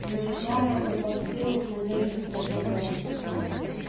но ведь вам это под силу с надеждой спросил гарри